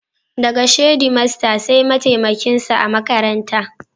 Daga shedimaster sai mataimakin sa a makaranta.